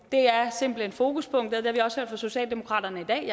der er fokuspunktet det har vi også hørt fra socialdemokratiet i dag